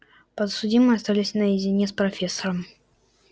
подсудимые остались наедине с профессором макгонагалл взиравшей на них строгим но справедливым оком